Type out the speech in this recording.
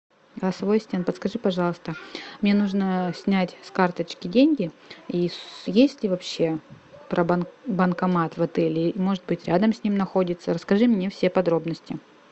голосовой ассистент подскажи пожалуйста мне нужно снять с карточки деньги и есть ли вообще банкомат в отеле или может быть рядом с ним находится расскажи мне все подробности